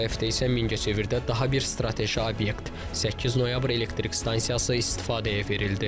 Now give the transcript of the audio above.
Bu həftə isə Mingəçevirdə daha bir strateji obyekt 8 noyabr elektrik stansiyası istismara verildi.